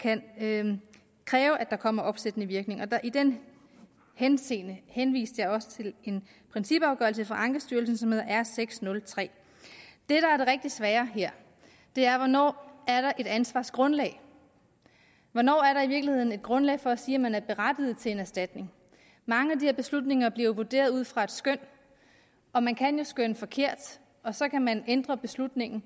kan kræve at der kommer opsættende virkning i den henseende henviste jeg også til en principafgørelse fra ankestyrelsen som hedder r seks hundrede og tre det der er det rigtig svære her er hvornår der er et ansvarsgrundlag hvornår er der i virkeligheden grundlag for at sige at man er berettiget til en erstatning mange af de her beslutninger bliver vurderet ud fra skøn og man kan jo skønne forkert og så kan man ændre beslutningen